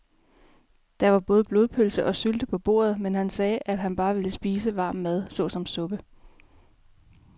Der var både blodpølse og sylte på bordet, men han sagde, at han bare ville spise varm mad såsom suppe.